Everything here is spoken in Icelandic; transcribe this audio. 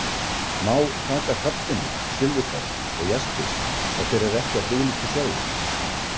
Má taka hrafntinnu, silfurberg og jaspis ef þeir eru ekki á friðlýstu svæði?